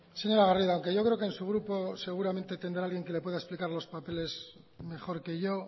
señora garrido aunque yo creo que en su grupo seguramente tendrá alguien que le pueda explicar los papeles mejor que yo